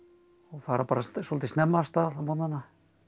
fara svolítið snemma af stað á morgnanna